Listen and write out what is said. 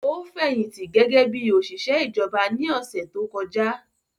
Ó fẹ̀yìntì gẹ́gẹ́ bí òṣìṣẹ́ ìjọba ní ọ̀sẹ̀ tó kọjá